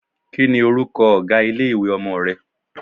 Kí ni orúkọ ọ̀gá ilé-ìwé ọmọ rẹ?